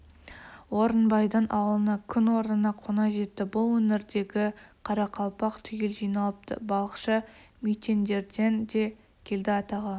орынбайдың ауылына күн орнына қона жетті бұл өңірдегі қарақалпақ түгел жиналыпты балықшы мүйтендерден де келді атағы